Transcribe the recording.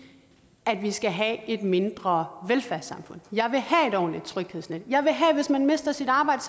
at vi skal have et mindre velfærdssamfund jeg vil have et ordentligt tryghedsnet jeg vil have at hvis man mister sit arbejde